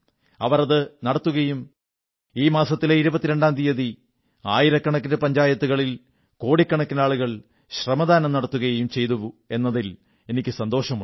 അവർ അത് നടത്തുകയും ഈ മാസത്തിലെ 22ാം തീയതി ആയിരക്കണക്കിന് പഞ്ചായത്തുകളിൽ കോടിക്കണക്കിനാളുകൾ ശ്രമദാനം നടത്തുകയും ചെയ്തുവെന്നതിൽ എനിക്കു വളരെ സന്തോഷമുണ്ട്